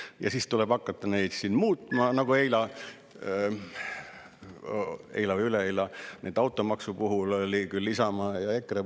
Ja siis tuleb hakata neid siin muutma, nagu eile või üleeile automaksu puhul üritasid Isamaa ja EKRE.